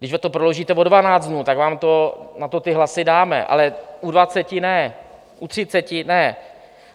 Když to prodloužíte o 12 dnů, tak vám na to ty hlasy dáme, ale u 20 ne, u 30 ne.